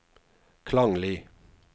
klanglig